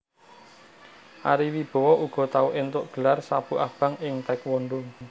Ari Wibowo uga tau éntuk gelar sabuk abang ing taekwondo